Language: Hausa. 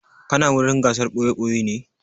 Kana wurin gasar ɓoye-ɓoye ne?